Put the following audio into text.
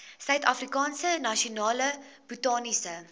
suidafrikaanse nasionale botaniese